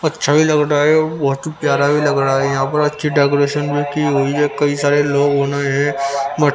अच्छा भी लग रहा है और बहुत ही प्यारा भी लग रहा है यहां पर अच्छी डेकोरेशन भी की हुई है कई सारे लोग होना हैं मा --